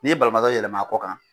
N'i ye banabaatɔ yɛlɛm'a kɔ kan,